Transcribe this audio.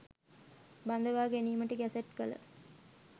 බඳවා ගැනීමට ගැසට් කළ